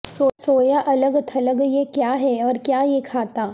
سویا الگ تھلگ یہ کیا ہے اور کیا یہ کھاتا